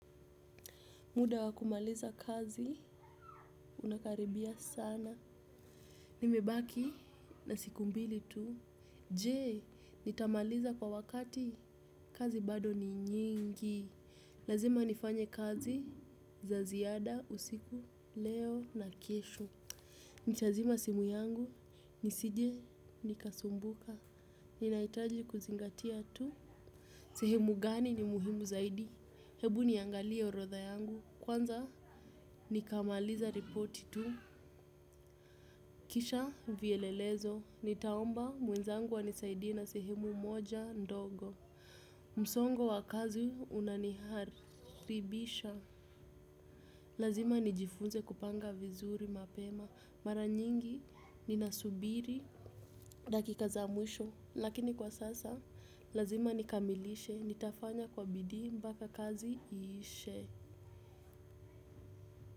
Muda wakumaliza kazi, unakaribia sana. Nimebaki na siku mbili tuu. Jee, nitamaliza kwa wakati, kazi bado ni nyingi. Lazima nifanye kazi za ziada, usiku, leo na kesho. Ntazima simu yangu, nisije, nikasumbuka. Ninahitaji kuzingatia tu. Sehemu gani ni muhimu zaidi? Hebu niangalie orodha yangu. Kwanza nikamaliza reporti tu, kisha vyelelezo, nitaomba mwenzangu anisaidie na sehemu moja ndogo. Msongo wa kazi unaniharibisha, lazima nijifunze kupanga vizuri mapema. Mara nyingi ninasubiri, dakika za mwisho, lakini kwa sasa lazima nikamilishe, nitafanya kwa bidii mpaka kazi iishe.